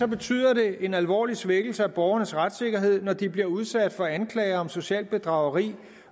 betyder det en alvorlig svækkelse af borgernes retssikkerhed når de bliver udsat for anklage om socialt bedrageri